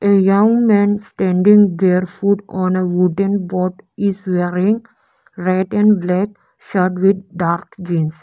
a young man standing bare foot on a wooden board is wearing red and black shirt with dark jeans.